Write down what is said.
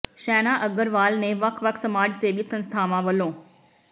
ਸ਼ੇਨਾ ਅਗਰਵਾਲ ਨੇ ਵੱਖ ਵੱਖ ਸਮਾਜ ਸੇਵੀ ਸੰਸਥਾਵਾਂ ਵਲੋਂ